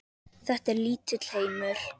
Þetta er lítill heimur.